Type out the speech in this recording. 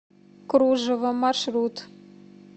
кружева маршрут